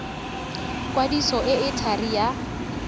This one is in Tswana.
kwadiso e e thari ya